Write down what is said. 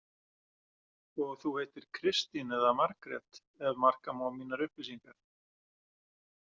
Og þú heitir Kristín eða Margrét, ef marka má mínar upplýsingar.